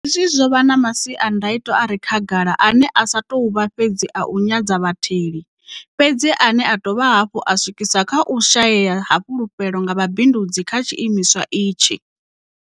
Hezwi zwo vha na masiandaitwa a re khagala ane a sa tou vha fhedzi u nyadza vhatheli, fhedzi ane a dovha hafhu a swikisa kha u shayea ha fulufhelo nga vhabindudzi kha tshiimiswa itshi.